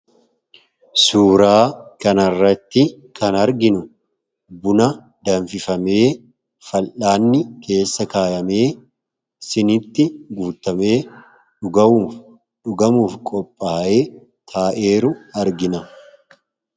Suuraa kana irratti kan arginu, buna danfifamee fal'aanni keessa kaawwamee siiniitti guutamee dhugamuuf qophaa'ee taa'ee jiru argina.